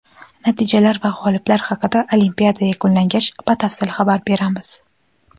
Natijalar va g‘oliblar haqida olimpiada yakunlangach batafsil xabar beramiz.